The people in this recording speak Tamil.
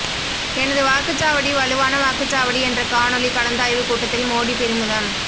எனது வாக்குச்சாவடி வலுவான வாக்குச்சாவடி என்ற காணொளி கலந்தாய்வு கூட்டத்தில் மோடி பெருமிதம்